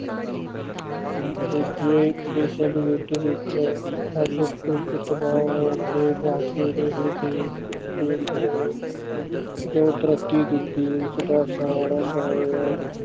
ਦੂਜੇ ਵਿਸ਼ਵ ਯੁੱਧ ਵਿੱਚ ਸਭ ਕੁਛ ਤਬਾਹ ਹੋਣ ਦੇ ਬਾਵਜ਼ੂਦ ਇਹ ਦੇਸ ਇਸ ਦੇਸ ਨੇ ਜੋ ਤਰੱਕੀ ਕੀਤੀ ਉਸਦਾ ਸਾਰਾ ਸਹਿਰਾ